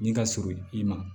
Nin ka surun i ma